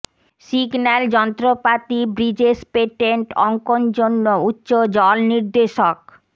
signal যন্ত্রপাতি bridges patent অঙ্কন জন্য উচ্চ জল নির্দেশক